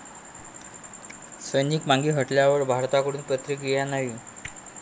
सैनिक मागे हटण्यावर भारताकडून प्रतिक्रिया नाही.